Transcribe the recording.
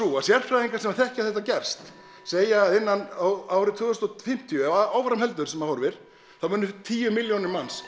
að sérfræðingar sem þekkja þetta gerst segja að árið tvö þúsund og fimmtíu ef áfram heldur sem horfir þá munu tíu milljónir manna